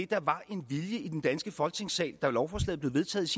der var en vilje til i den danske folketingssal da lovforslaget blev vedtaget